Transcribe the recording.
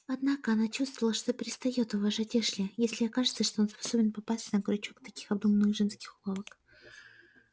однако она чувствовала что перестаёт уважать эшли если окажется что он способен попасться на крючок таких обдуманных женских уловок